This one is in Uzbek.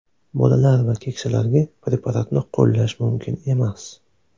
Bolalar va keksalarga preparatni qo‘llash mumkin emas.